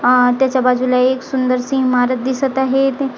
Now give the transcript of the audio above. आह त्याच्या बाजूला एक सुंदरशी ईमारत दिसत आहे इथे आह--